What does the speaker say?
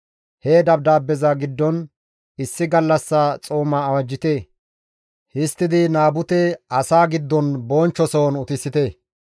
He dabdaabeza giddon, «Issi gallassa xooma awajjite; histtidi Naabute asaa giddon bonchcho sohon utisite.